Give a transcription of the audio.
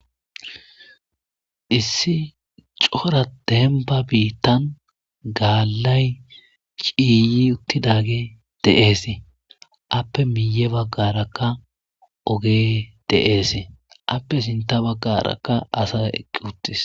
Issi cora demba biitan daalay ciiyi uttidage de'esi ape miye bagaraka ogey de'esi ape sintha bagaraka aday eqi uttis.